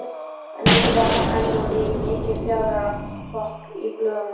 En nú varð enn á ný mikið fjaðrafok í blöðunum.